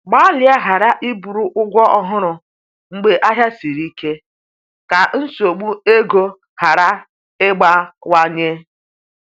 Gbalịa ghara iburu ụgwọ ọhụrụ mgbe ahịa siri ike, ka nsogbu ego ghara ịgbawanye